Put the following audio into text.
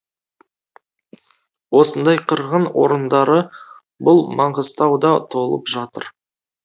осындай қырғын орындары бұл маңғыстауда толып жатыр